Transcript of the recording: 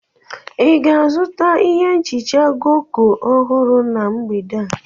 Ị ga-azụta ihe nhicha Goko ọhụrụ na mgbede a?